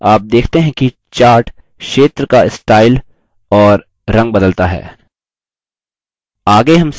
आप देखते हैं कि chart क्षेत्र का स्टाइल और रंग बदलता है